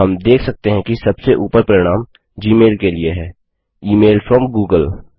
हम देख सकते हैं कि सबसे उपर परिणाम जीमेल के लिए है इमेल फ्रॉम गूगल